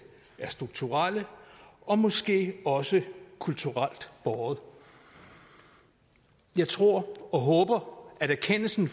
strukturelle og måske også kulturelt båret jeg tror og håber at erkendelsen